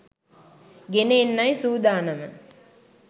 ගෙන එන්නයි සූදානම